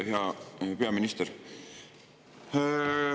Hea peaminister!